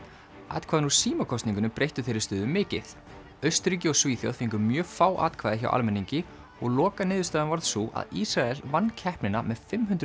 atkvæðin úr breyttu þeirri stöðu mikið Austurríki og Svíþjóð fengu mjög fá atkvæði hjá almenningi og lokaniðurstaðan varð sú að Ísrael vann keppnina með fimmhundruð